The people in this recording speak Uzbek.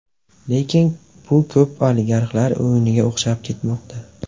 Lekin bu ko‘proq oligarxlar o‘yiniga o‘xshab ketmoqda.